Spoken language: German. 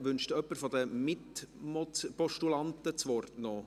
Wünscht jemand von den Mitpostulanten noch das Wort?